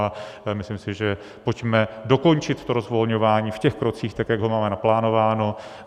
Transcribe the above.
A myslím si, že - pojďme dokončit to rozvolňování v těch krocích tak, jak ho máme naplánováno.